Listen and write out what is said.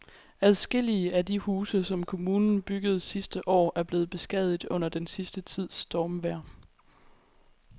Adskillige af de huse, som kommunen byggede sidste år, er blevet beskadiget under den sidste tids stormvejr.